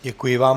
Děkuji vám.